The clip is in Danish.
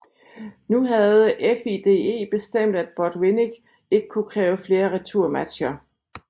Nu havde FIDE bestemt at Botvinnik ikke kunne kræve flere returmatcher